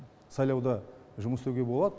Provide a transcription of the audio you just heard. сайлауда жұмыс істеуге болады